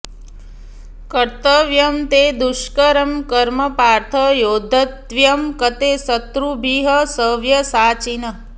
कर्तव्यं ते दुष्करं कर्म पार्थ योद्धव्यं कते शत्रुभिः सव्यसाचिन्